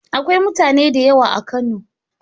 Akwai mutane da yawa a Kano.